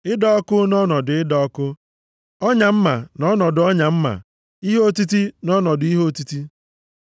Ịda ọkụ nʼọnọdụ ịda ọkụ, ọnya mma, nʼọnọdụ ọnya mma, ihe otiti nʼọnọdụ ihe otiti.